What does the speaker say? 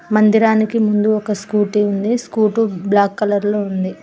మందిరానికి ముందు ఒక స్కూటీ ఉంది స్కూటీ బ్లాక్ కలర్ లో ఉంది.